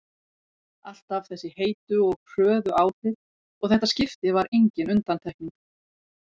Alltaf þessi heitu og hröðu áhrif og þetta skipti var engin undantekning.